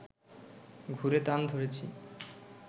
ঘুরে তান ধরেছি